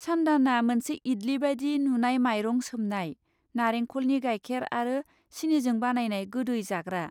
सानदानआ मोनसे इडली बादि नुनाय माइरं सोमनाय, नारेंख'लनि गायखेर आरो सिनिजों बानायनाय गोदै जाग्रा।